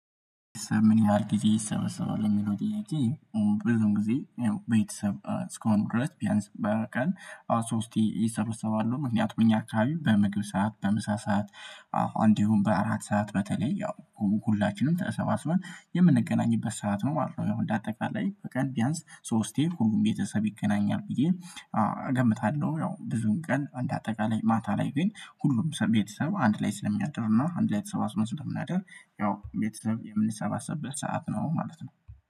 ምን ላርግ ጊዜ ይሰበሰባል ለሚለው ጥያቄ? ብዙም ጊዜ ያው ቤተሰብ እስካሁን ድረስ ቢያንስ በቀን አስራ ሶስቲ ይሰበሰባሉ ምክንያቱም እኛ አከባቢ በምግብ ሰዓት በምሳ ሰዓት እንዲሁም በአራት ሰዓት በተለይ ያው ሁላችንም ተሰባስበን የምንገናኝበት ሰዓት ነው ማለት ነው። እንደ አጠቃላይ በቀን ቢያንስ ሶስቴ ሁሉም ቤተሰብ ይገናኛል ብዬ እገምታለሁ። ያው ብዙን ቀን እንድ አጠቃላይ ማታ ላይ ግን ሁሉም ቤተሰብ አንድ ላይ ስለሚያድርና አንድ ላይ ተሰባስበን ስለምናድር። ያው ቤተሰብ የምንሰባሰብበት ሰዓት ነው ማለት ነው።